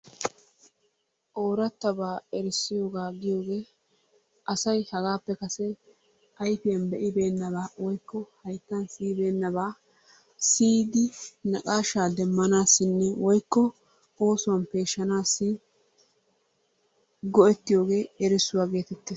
Orattabaa erissiyoogaa giyoogee asay hagappe kase ayfiyaan be'ibennabaa woykko hayttan siyibenabaa siiyidi naqashshaa deemmanassinne woykko go"an peeshshanassi go"ettiyoogee erissuwaa geettetees.